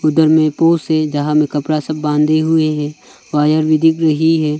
दरमेपो से जहां में कपड़ा सब बांधे हुए हैं वायर भी दिख रही है।